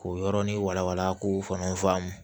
K'o yɔrɔnin wala wala k'o fana faamu